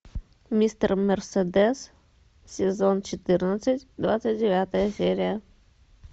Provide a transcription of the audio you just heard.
мистер мерседес сезон четырнадцать двадцать девятая серия